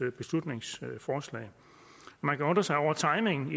beslutningsforslag man kan undre sig over timingen i